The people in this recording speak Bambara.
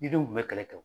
Didenw tun bɛ kɛlɛ kɛ